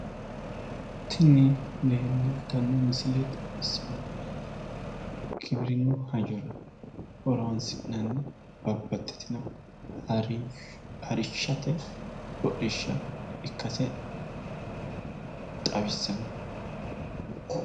Tini leeltanno misile xawissannohu giwirinnu hajjora horonsi'nanni babbaxxitino harishshate hodhishsha ikkase xawissanno.